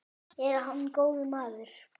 Er hann góður maður?